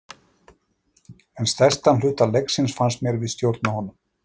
En stærstan hluta leiksins fannst mér við stjórna honum.